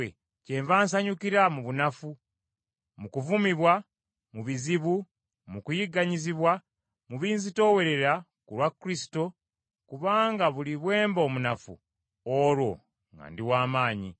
Kyenva nsanyukira mu bunafu, mu kuvumibwa, mu bizibu, mu kuyigganyizibwa, mu binzitoowerera, ku lwa Kristo, kubanga buli bwe mba omunafu, olwo nga ndi wa maanyi.